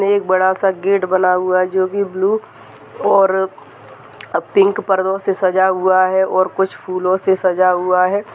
एक बड़ा सा गेट बना हुआ है जो की ब्लू और अ पिंक परदों से सजा हुआ है और कुछ फूलों से सजा हुआ है।